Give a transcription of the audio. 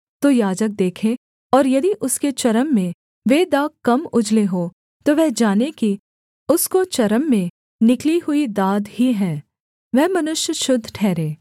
तो याजक देखे और यदि उसके चर्म में वे दाग कम उजले हों तो वह जाने कि उसको चर्म में निकली हुई दाद ही है वह मनुष्य शुद्ध ठहरे